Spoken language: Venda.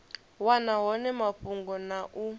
wana hone mafhungo na u